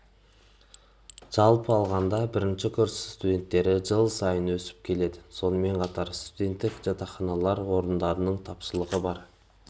жалпы алғанда бірінші курс студенттері жыл сайын өсіп келеді сонымен қатар студенттік жатақханаларда орындардың тапшылығы бар